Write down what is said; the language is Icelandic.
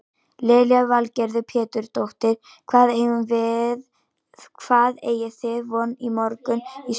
Lillý Valgerður Pétursdóttir: Hvað eigið þið von á mörgum í sumar?